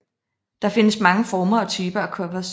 Der findes mange former og typer af covers